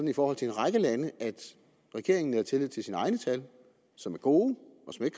i forhold til en række lande at regeringen nærer tillid til sine egne tal som er gode